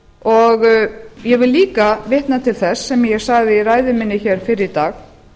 og ég vil líka vitna til þess sem ég sagði í ræðu minni fyrr í dag